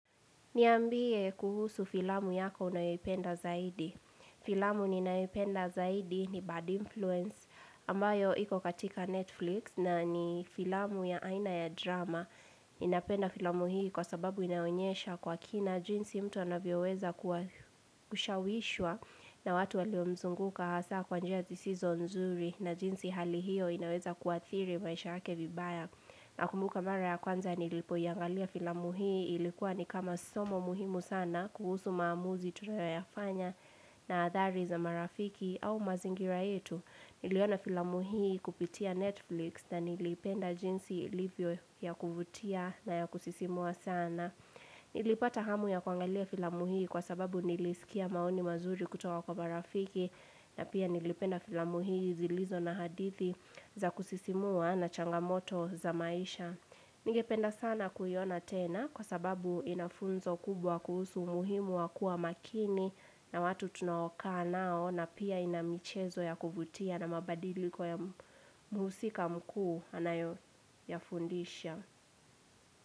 Niambie kuhusu filamu yako unayoipenda zaidi. Filamu ninayoipenda zaidi ni Bad Influence ambayo iko katika Netflix na ni filamu ya aina ya drama. Ninapenda filamu hii kwa sababu inaonyesha kwa kina jinsi mtu anavyoweza kushawishwa na watu waliomzunguka hasa kwa njia zisizo nzuri na jinsi hali hiyo inaweza kuathiri maisha yake vibaya. Nakumbuka mara ya kwanza nilipoiangalia filamu hii ilikuwa ni kama somo muhimu sana kuhusu maamuzi tunayafanya na adhari za marafiki au mazingira yetu. Niliona filamu hii kupitia Netflix na nilipenda jinsi ilivyo ya kuvutia na ya kusisimua sana. Nilipata hamu ya kuangalia filamu hii kwa sababu nilisikia maoni mazuri kutoka kwa marafiki. Na pia nilipenda filamu hii zilizo na hadithi za kusisimua na changamoto za maisha Ningependa sana kuiona tena kwa sababu ina funzo kubwa kuhusu muhimu wa kuwa makini na watu tunaokaa nao na pia ina michezo ya kuvutia na mabadiliko ya mhusika mkuu anayoyafundisha.